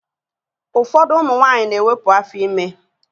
Ụfọdụ ụmụ nwaanyị na-ewepu afọ ime